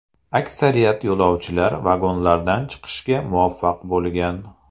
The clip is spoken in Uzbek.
Aksariyat yo‘lovchilar vagonlardan chiqishga muvaffaq bo‘lgan.